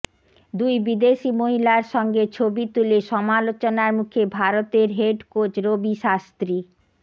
দুই বিদেশি মহিলার সঙ্গে ছবি তুলে সমালোচনার মুখে ভারতের হেড কোচ রবি শাস্ত্ৰী